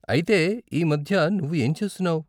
అయితే ఈ మధ్య నువ్వు ఏం చేస్తున్నావ్?